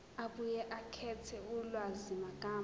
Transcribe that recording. abuye akhethe ulwazimagama